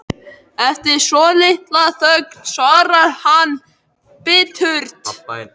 Eftir svolitla þögn svarar hann biturt